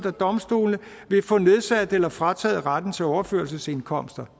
af domstolene vil få nedsat eller frataget retten til overførselsindkomster